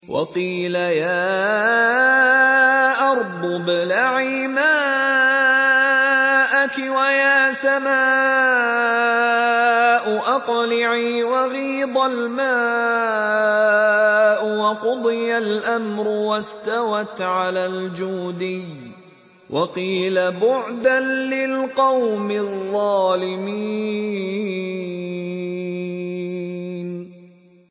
وَقِيلَ يَا أَرْضُ ابْلَعِي مَاءَكِ وَيَا سَمَاءُ أَقْلِعِي وَغِيضَ الْمَاءُ وَقُضِيَ الْأَمْرُ وَاسْتَوَتْ عَلَى الْجُودِيِّ ۖ وَقِيلَ بُعْدًا لِّلْقَوْمِ الظَّالِمِينَ